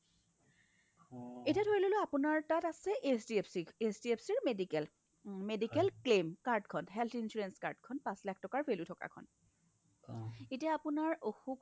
এতিয়া ধৰিললো আপোনাৰ তাত আছে HDFC HDFC ৰ medical medical claim card খন health insurance card খন পাচ লাখ টকাৰ value থকা খন এতিয়া আপোনাৰ অসুখ হোৱা